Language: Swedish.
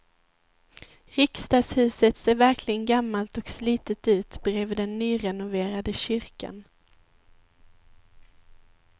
Riksdagshuset ser verkligen gammalt och slitet ut bredvid den nyrenoverade kyrkan.